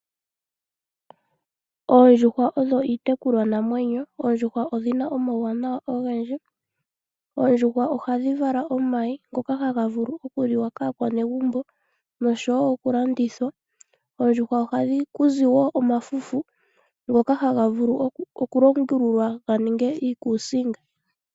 Oondjuhwa odho iitekulwanamwenyo. Oondjuhwa odhi na omauwanawa ogendji. Oondjuhwa ohadhi vala omayi ngoka haga vulu okuliwa kaanegumbo noshowo okulandithwa. Koondjuhwa ohaku zi wo omafufu ngoka haga vulu okulongululwa ga ninge iikuusinga.